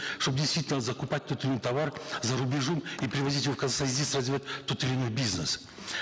чтобы действительно закупать тот или иной товар за рубежом и привозить его в казахстан и здесь развивать тот или иной бизнес